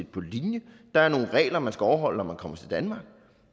på linje der er nogle regler man skal overholde når man kommer til danmark